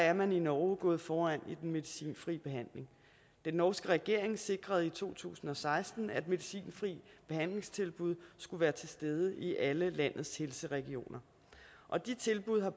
er man i norge gået foran i den medicinfrie behandling den norske regering sikrede i to tusind og seksten at medicinfrie behandlingstilbud skulle være til stede i alle landets helseregioner og de tilbud har